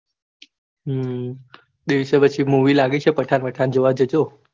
હમ દિવસે પછી movie લાગી છે પઠન વથાણ જોવા જજો.